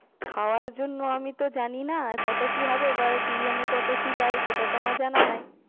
খাওয়ার জন্য আমি তো জানি না কত কি হবে, এবার বিরিয়ানির কত কি দে সেটাতো আমার জানা নেই।